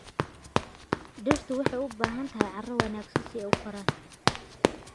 Dhirtu waxay u baahan tahay carro wanaagsan si ay u koraan.